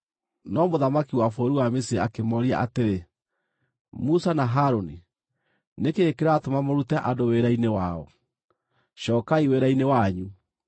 No mũthamaki wa bũrũri wa Misiri akĩmooria atĩrĩ, “Musa na Harũni, nĩ kĩĩ kĩratũma mũrute andũ wĩra-inĩ wao? Cookai wĩra-inĩ wanyu!”